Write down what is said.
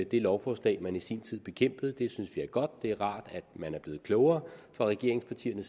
det lovforslag man i sin tid bekæmpede det synes vi er godt det er rart at man er blevet klogere i regeringspartierne